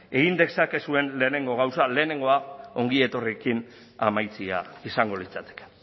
egin dezakezuen lehenengo gauza lehenengoa ongietorriekin amaitzea izango litzateke